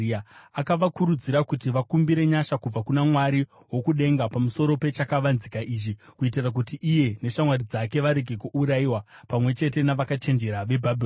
Akavakurudzira kuti vakumbire nyasha kubva kuna Mwari wokudenga pamusoro pechakavanzika ichi, kuitira kuti iye neshamwari dzake varege kuurayiwa pamwe chete navakachenjera veBhabhironi.